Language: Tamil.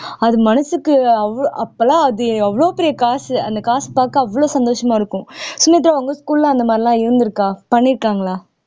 அது மனசுக்கு அவ்வ அப்பெல்லாம் அது எவ்வளவு பெரிய காசு அந்த காசு பார்க்க அவ்வளவு சந்தோஷமா இருக்கும் சுமித்ரா உங்க school ல அந்த மாதிரி எல்லாம் இருந்திருக்கா பண்ணியிருக்காங்களா